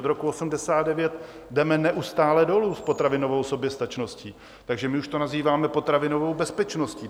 Od roku 1989 jdeme neustále dolů s potravinovou soběstačností, takže my už to nazýváme potravinovou bezpečností.